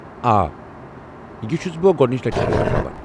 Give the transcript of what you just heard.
آ ، یہ چُھس بہٕ گۄڈنچہِ لَٹہِ ووٹ ترٛاوان ۔